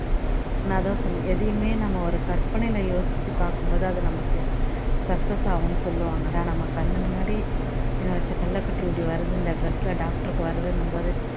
நான் அதான் சொன்னேன் எதையுமே நம்ம ஒரு கற்பனையில யோசிச்சுப்பாக்கும்போது அது நமக்கு success ஆகுனு சொல்லுவாங்கடா நம்ம கண்ணுமுன்னாடி என்னோட செல்லகுட்டி இப்படி வருது இந்த dress ல doctor க்கு வருதுன்னும்போது